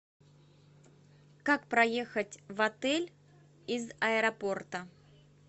как проехать в отель из аэропорта